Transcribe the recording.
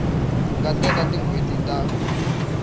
nga teka tin hweti ta